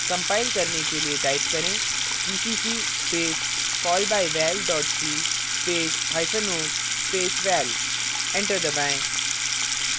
compile करने के लिए type करें gcc space callbyval c space hyphen o space val enter दबाएँ